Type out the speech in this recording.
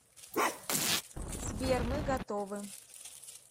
сбер мы готовы